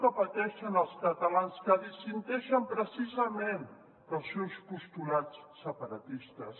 que pateixen els catalans que dissenteixen precisament dels seus postulats separatistes